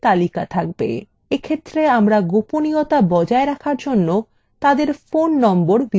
এক্ষেত্রে আমরা গোপনীয়তা বজায় রাখার জন্য তাদের phone নম্বর ভিউতে রাখবো না